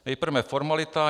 Nejprve formalita.